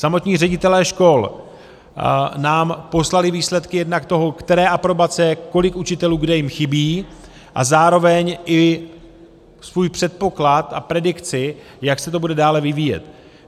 Samotní ředitelé škol nám poslali výsledky jednak toho, které aprobace, kolik učitelů kde jim chybí, a zároveň i svůj předpoklad a predikci, jak se to bude dále vyvíjet.